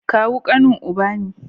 Kawu kanin uba ne